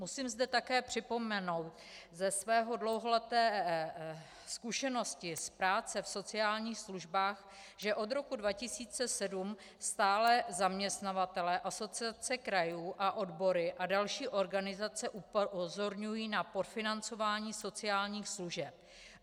Musím zde také připomenout ze své dlouholeté zkušenosti z práce v sociálních službách, že od roku 2007 stále zaměstnavatelé, Asociace krajů a odbory a další organizace upozorňují na podfinancování sociálních služeb.